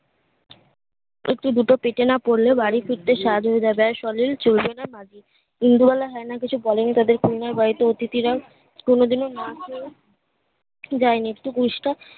একটি গুঁতো পেতে না পড়লে বাড়ি ফিরতে সাজ হয়ে যাবে আর শরীর চলবে না মাজি দিন দুবেলা হো এ না কিছু বলিনি তোদের queen এর বাড়িতে অতিথিরা কোনোদিন না আসে দেয়নি একটু